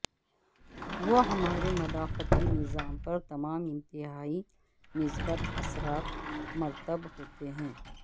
وہ ہمارے مدافعتی نظام پر تمام انتہائی مثبت اثرات مرتب ہوتے ہیں